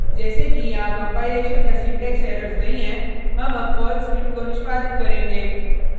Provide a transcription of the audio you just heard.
जैसे कि यहाँ कंपाइलेशन या सिंटेक्स एरर्स नहीं है हम अब पर्ल स्क्रिप्ट को निष्पादित करेंगे